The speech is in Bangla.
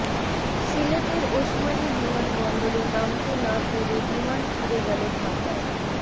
সিলেটের ওসমানি বিমানবন্দরে নামতে না পেরে বিমান ফিরে গেল ঢাকায়